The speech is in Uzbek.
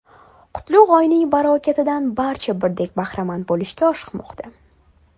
Qutlug‘ oyning barakotidan barcha birdek bahramand bo‘lishga oshiqmoqda.